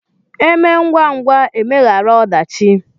E mee ngwangwa emeghara ọdachi